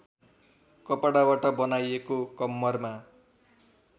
कपडाबाट बनाइएको कम्मरमा